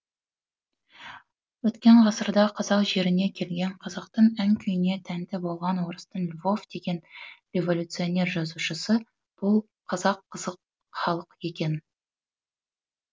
өткен ғасырда қазақ жеріне келген қазақтың ән күйіне тәнті болған орыстың львов деген революционер жазушысы бұл қазақ қызық халық екен